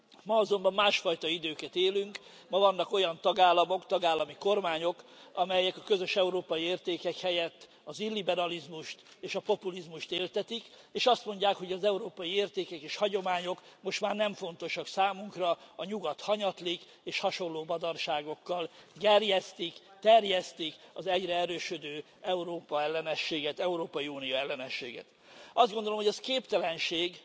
Ma azonban másfajta időket élünk, ma vannak olyan tagállamok, tagállami kormányok, amelyek a közös európai értékek helyett az illiberalizmust és a populizmust éltetik, és azt mondják, hogy az európai értékek és hagyományok most már nem fontosak számunkra, a Nyugat hanyatlik és hasonló badarságokkal gerjesztik, terjesztik az egyre erősödő Európa ellenességet, Európai Unió ellenességet. Azt gondolom, hogy ez képtelenség,